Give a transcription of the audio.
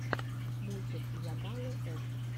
мультик йагалы с